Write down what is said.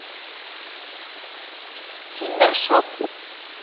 киндер шоп